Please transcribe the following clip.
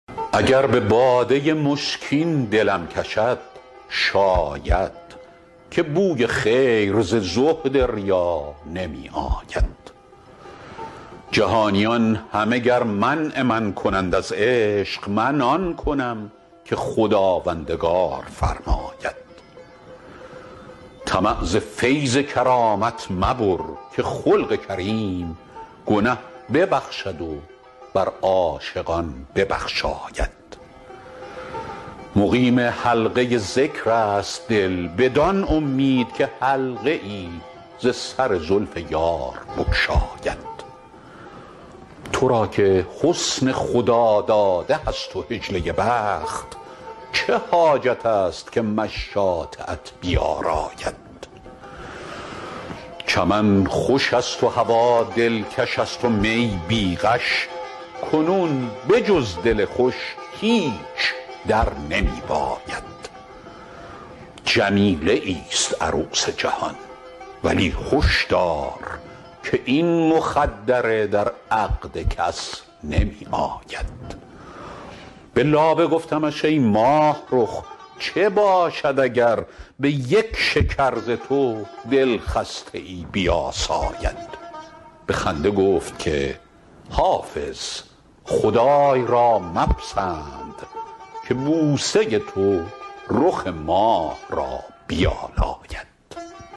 اگر به باده مشکین دلم کشد شاید که بوی خیر ز زهد ریا نمی آید جهانیان همه گر منع من کنند از عشق من آن کنم که خداوندگار فرماید طمع ز فیض کرامت مبر که خلق کریم گنه ببخشد و بر عاشقان ببخشاید مقیم حلقه ذکر است دل بدان امید که حلقه ای ز سر زلف یار بگشاید تو را که حسن خداداده هست و حجله بخت چه حاجت است که مشاطه ات بیاراید چمن خوش است و هوا دلکش است و می بی غش کنون به جز دل خوش هیچ در نمی باید جمیله ایست عروس جهان ولی هش دار که این مخدره در عقد کس نمی آید به لابه گفتمش ای ماهرخ چه باشد اگر به یک شکر ز تو دلخسته ای بیاساید به خنده گفت که حافظ خدای را مپسند که بوسه تو رخ ماه را بیالاید